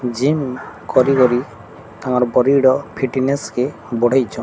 ଯେଉଁ କରିଗରି ଆମର ବଡ଼ି ର ଫିଟନେସ୍ କେ ବଢ଼େଇଛ --